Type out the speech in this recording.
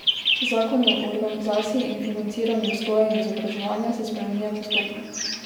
Zakon o organizaciji in financiranju vzgoje in izobraževanja se spreminja postopno.